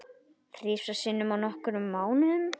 Þrisvar sinnum á nokkrum mánuðum?